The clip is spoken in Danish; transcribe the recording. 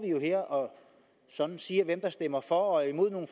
her og sådan siger hvem der stemmer for og imod nogle